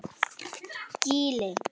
Gili